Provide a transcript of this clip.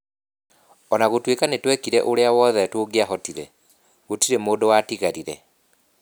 O na gũtuĩka nĩ twekire ũrĩa wothe tũngĩahotire, gũtirĩ mũndũ watigarire.